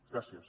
gràcies